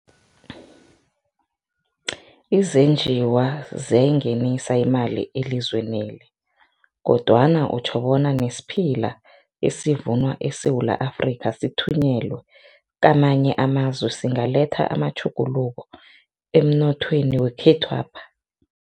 Izenjiwa ziyayingenisa imali elizweneli kodwana utjho bona nesiphila esivunwa eSewula Afrika sithunyelwe kamanye amazwe singletha amatjhuguluko emnothweni wekhethwapha?